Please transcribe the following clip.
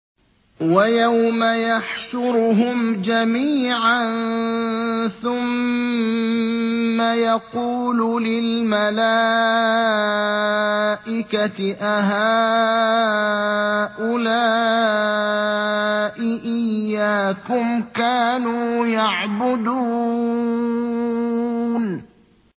وَيَوْمَ يَحْشُرُهُمْ جَمِيعًا ثُمَّ يَقُولُ لِلْمَلَائِكَةِ أَهَٰؤُلَاءِ إِيَّاكُمْ كَانُوا يَعْبُدُونَ